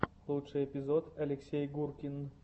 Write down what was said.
лучший эпизод алексей гуркин